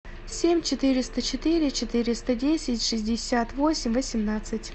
семь четыреста четыре четыреста десять шестьдесят восемь восемнадцать